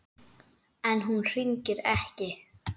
En hún hringir ekki.